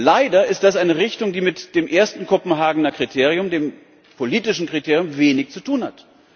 Leider ist das eine Richtung, die mit dem ersten Kopenhagener Kriterium, dem politischen Kriterium, wenig zu tun hat.